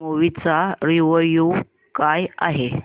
movie चा review काय आहे